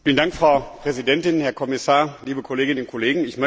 Frau Präsidentin, Herr Kommissar, liebe Kolleginnen und Kollegen!